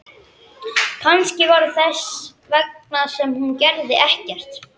Kannski var það þess vegna sem hún gerði ekkert.